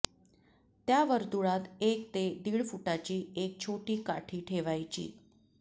त्या वर्तुळात एक ते दीड फुटाची एक छोटी काठी ठेवायची